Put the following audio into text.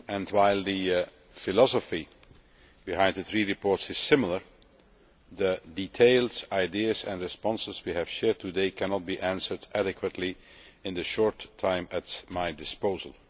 While the philosophy behind the three reports is similar, the details, ideas and responses we have shared today cannot be addressed adequately in the short time at my disposal.